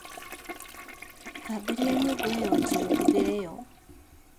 Thambĩria nyũngũĩyo njirũndũgĩre yo